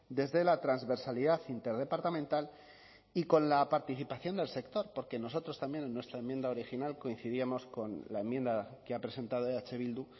desde la transversalidad interdepartamental y con la participación del sector porque nosotros también en nuestra enmienda original coincidíamos con la enmienda que ha presentado eh bildu